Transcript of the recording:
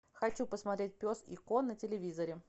хочу посмотреть пес и ко на телевизоре